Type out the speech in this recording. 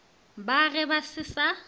ba ge ba se sa